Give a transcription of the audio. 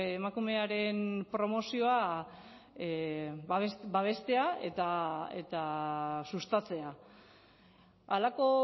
emakumearen promozioa babestea eta sustatzea halako